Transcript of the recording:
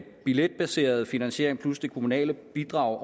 billetbaserede finansiering plus det kommunale bidrag